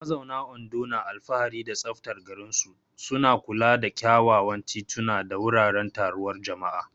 Mazauna Ondo na alfahari da tsaftar garinsu, suna kula da kyawawan tituna da wuraren taruwar jama'a.